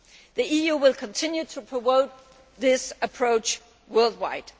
The EU will continue to promote this approach worldwide.